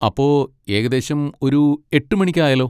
അപ്പോ, ഏകദേശം ഒരു എട്ടുമണിക്ക് ആയാലോ?